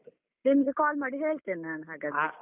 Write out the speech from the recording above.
ನಿಮ್ಗೆ call ಮಾಡಿ ಹೇಳ್ತೇನೆ ನಾನ್ ಹಾಗಾದ್ರೆ.